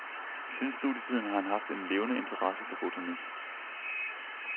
Siden studietiden har han haft en levende interesse for botanik.